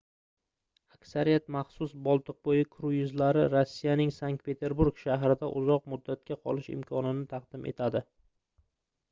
aksariyat maxsus boltiqboʻyi kruizlari rossiyaning sankt-peterburg shahrida uzoq muddatga qolish imkonini taqdim etadi